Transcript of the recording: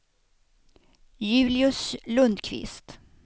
Julius Lundquist